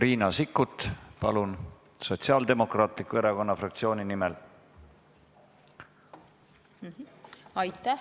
Riina Sikkut, palun, Sotsiaaldemokraatliku Erakonna fraktsiooni nimel!